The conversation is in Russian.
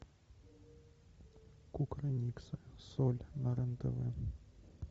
кукрыниксы соль на рен тв